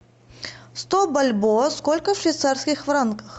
сто бальбоа сколько в швейцарских франках